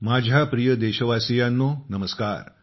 माझ्या प्रिय देशवासियांनो नमस्कार